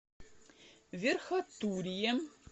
верхотурье